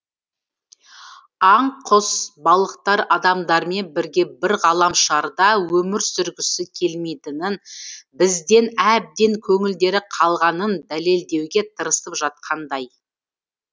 аң құс балықтар адамдармен бірге бір ғаламшарда өмір сүргісі келмейтінін бізден әбден көңілдері қалғанын дәлелдеуге тырысып жатқандай